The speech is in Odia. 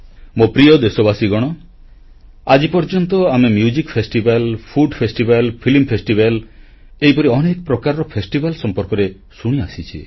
ମୋ ପ୍ରିୟ ଦେଶବାସୀଗଣ ଆଜି ପର୍ଯ୍ୟନ୍ତ ଆମେ ସଙ୍ଗୀତ ମହୋତ୍ସବ ଖାଦ୍ୟ ମହୋତ୍ସବ ଚଳଚିତ୍ର ମହୋତ୍ସବ ଏହିପରି ଅନେକ ପ୍ରକାରର ମହୋତ୍ସବ ସମ୍ପର୍କରେ ଶୁଣିଆସିଛେ